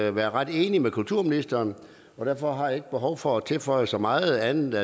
at være ret enige med kulturministeren derfor har jeg ikke behov for at tilføje så meget andet